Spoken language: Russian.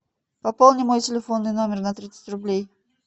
пополни мой телефонный номер на тридцать рублей